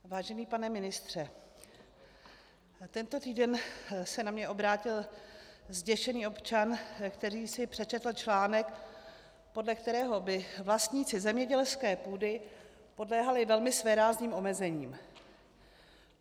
Vážený pane ministře, tento týden se na mě obrátil zděšený občan, který si přečetl článek, podle kterého by vlastníci zemědělské půdy podléhali velmi svérázným omezením.